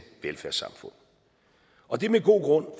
velfærdssamfund og det er med god grund